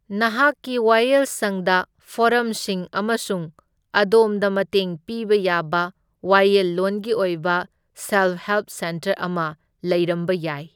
ꯅꯍꯥꯛꯀꯤ ꯋꯥꯌꯦꯜꯁꯪꯗ ꯐꯣꯔꯝꯁꯤꯡ ꯑꯃꯁꯨꯡ ꯑꯗꯣꯝꯗ ꯃꯇꯦꯡ ꯄꯤꯕ ꯌꯥꯕ ꯋꯥꯌꯦꯜꯂꯣꯟꯒꯤ ꯑꯣꯏꯕ ꯁꯦꯜꯐ ꯍꯦꯜꯞ ꯁꯦꯟꯇꯔ ꯑꯃ ꯂꯩꯔꯝꯕ ꯌꯥꯏ꯫